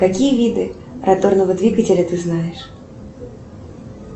какие виды роторного двигателя ты знаешь